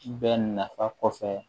Bɛɛ nafa kɔfɛ